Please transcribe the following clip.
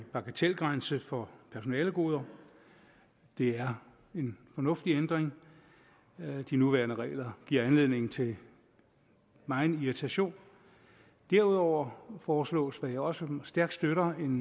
bagatelgrænse for personalegoder det er en fornuftig ændring de nuværende regler giver anledning til megen irritation derudover foreslås hvad jeg også stærkt støtter